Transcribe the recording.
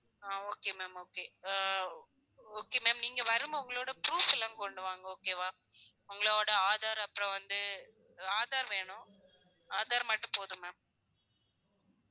ஆஹ் okay ma'am okay ah okay ma'am நீங்க வரும்போது உங்களோட proof லாம் கொண்டு வாங்க okay வா உங்களோட aadhar அப்புறம் வந்து aadhar வேணும் aadhar மட்டும் போதும் ma'am